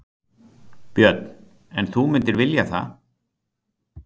Björn: En þú mundir vilja það?